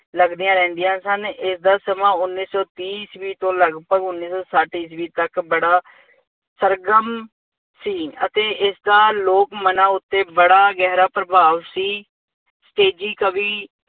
ਲੱਗਦੀਆਂ ਰਹਿੰਦੀਆ ਸਨ ਇਸਦਾ ਸਮਾਂ ਉੱਨੀ ਸੌ ਤੀਹ ਈਸਵੀ ਤੋਂ ਲਗਭਗ ਉੱਨੀ ਸੌ ਸੱਠ ਈਸਵੀ ਤੱਕ ਬੜਾ ਸਰਗਰਮ ਸੀ ਅਤੇ ਇਸਦਾ ਲੋਕ ਮਨਾਂ ਉੱਤੇ ਬੜਾ ਗਹਿਰਾ ਪ੍ਰਭਾਵ ਸੀ। ਤੇਜ਼ੀ ਕਵੀ